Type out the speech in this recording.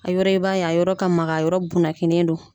A yɔrɔ e b'a ye a yɔrɔ ka magan a yɔrɔ bunakine don